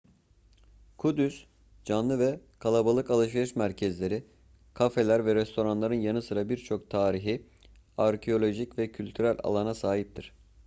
kudüs canlı ve kalabalık alışveriş merkezleri kafeler ve restoranların yanı sıra birçok tarihi arkeolojik ve kültürel alana sahiptir